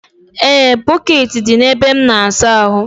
E, bọkeeti dị na ebe m n'asa ahụ.